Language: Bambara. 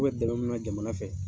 K' bɛ dɛmɛ min na jamana fɛ